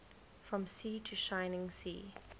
from sea to shining sea